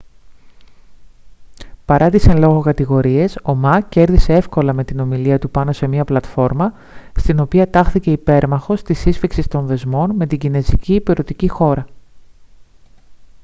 παρά τις εν λόγω κατηγορίες ο μα κέρδισε έυκολα με την ομιλία του πάνω σε μια πλατφόρμα στην οποία τάχθηκε υπέρμαχος της σύσφιξης των δεσμών με την κινεζική ηπειρωτική χώρα